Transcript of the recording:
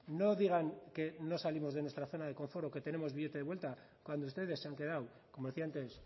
no digan que no salimos de nuestra zona de confort o que tenemos billete de vuelta cuando ustedes se han quedado como decía antes